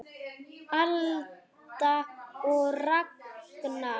Alda og Ragnar.